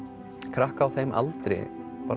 krakka á þeim aldri